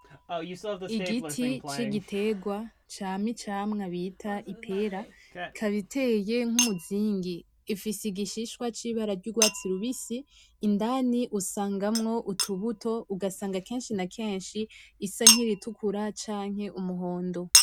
Igiti c'igiterwa cama icamwa bita ipera ikaba iteye nk'umuzingi ifise igishishwa c'ibara ry'urwatsi rubitsi indani usangamwo utubuto ugasanga keshi na keshi risa n'iritukura canke umuhondo.